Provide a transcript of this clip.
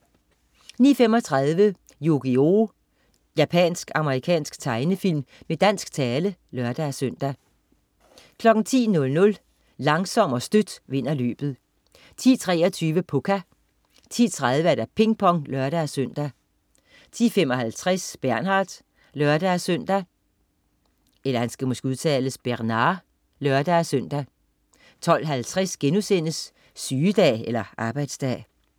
09.35 Yu-Gi-Oh! Japansk-amerikansk tegnefilm med dansk tale (lør-søn) 10.00 Langsom og Støt vinder løbet 10.23 Pucca 10.30 Ping Pong (lør-søn) 10.55 Bernard (lør-søn) 12.50 Sygedag eller arbejdsdag?*